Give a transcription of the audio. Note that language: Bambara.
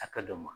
A ka dɔn ma